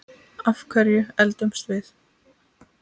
Af hverju eldumst við?